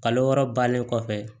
Kalo wɔɔrɔ balen kɔfɛ